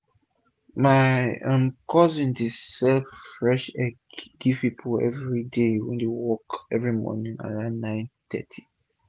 my um cousin dey um sell fresh egg give pipu wey dey go work everi morning around 9:30